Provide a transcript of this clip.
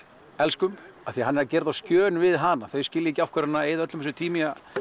elskum af því að hann er að gera á skjön við hana þau skilja ekki af hverju hann er að eyða öllum þessum tíma í að